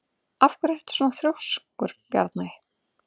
Af hverju ertu svona þrjóskur, Bjarney?